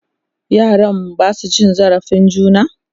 yaran Basu cin zalin juna?